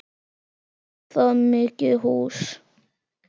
Var það mikið hús.